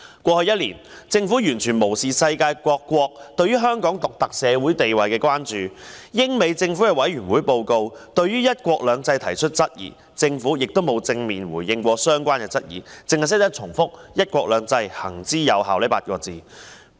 過去一年，政府完全無視世界各國對於香港獨特社會地位的關注，而英美政府的委員會報告對"一國兩制"提出質疑，政府亦從未作出正面回應，只是不斷重複"'一國兩制'行之有效"這8個字。